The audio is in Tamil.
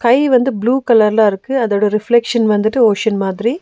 கை வந்து ப்ளூ கலர்ல இருக்கு அதோட ரிஃப்லெக்ஷன் வந்துட்டு ஓஷென் மாதிரி.